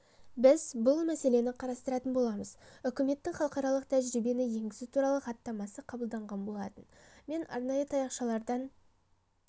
біз бұл мәселені қарастыратын боламыз үкіметтің халықаралық тәжірибені енгізу туралы хаттамасы қабылданған болатын мен арнайы таяқшалардан